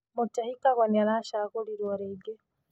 Mutahi Kagwe nĩ aracagũrirwo rĩngĩ